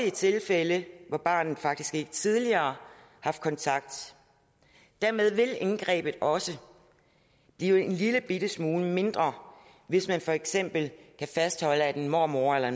i tilfælde hvor barnet faktisk ikke tidligere har haft kontakt dermed vil indgrebet også blive en lillebitte smule mindre hvis man for eksempel kan fastholde at mormor eller